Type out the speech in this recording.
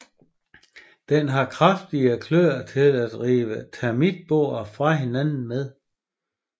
Den har kraftige kløer til at rive termitboer fra hinanden med